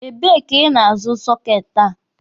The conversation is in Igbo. Ebe ka ị na-azụ soketi a?